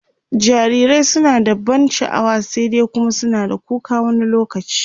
jarirai suna da ban sha'wa, sai dai Kuma suna da kuka wani lokaci